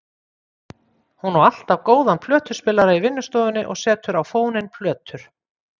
Hún á alltaf góðan plötuspilara í vinnustofunni og setur á fóninn plötur.